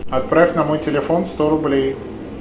отправь на мой телефон сто рублей